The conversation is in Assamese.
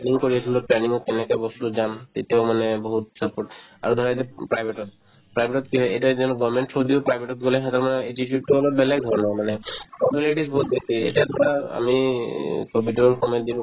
planning কৰি আছিলো planning ত কেনেকে বস্তুতো যাম তেতিয়াও মানে বহুত support আৰু ধৰা এতিয়া private তত private তত কি হয় এতিয়া যদি government ৰ through দিও private তত গ'লে সিহঁতৰ attitude তো অলপ বেলেগ ধৰণৰ মানে formalities বহুত বেছি এতিয়া ধৰা আমি ক'ভিডৰ সময়ত যিটো